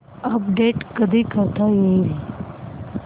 update कधी करता येईल